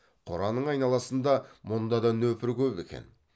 қораның айналасында мұнда да нөпір көп екен